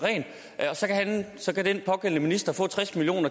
så kan den pågældende minister få tres million